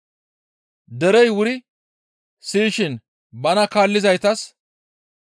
Derey wuri siyishin bana kaallizaytas,